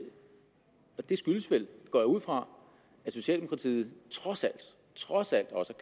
og det skyldes vel går jeg ud fra at socialdemokratiet trods alt trods alt også